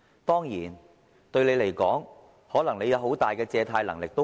當然，你們可能有很大的借貸能力。